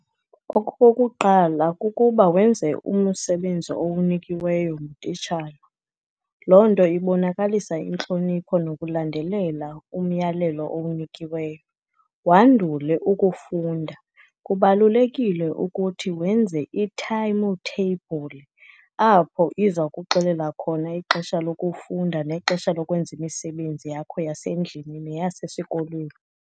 Okokuqala, kukuba wenze umsebenzi owunikiweyo ngutitshala. Loo nto ibonakalisa intlonipho nokulandelela umyalelo owunikiweyo, wandule ukufunda. Kubalulekile ukuthi wenze ithayimu theyibhuli, apho iza kuxelela khona ixesha lokufunda nexesha lokwenza imisebenzi yakho yasendlini neyasesikolweni.